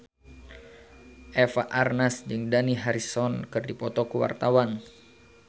Eva Arnaz jeung Dani Harrison keur dipoto ku wartawan